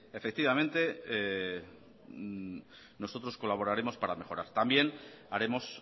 nosotros colaboraremos para mejorar también haremos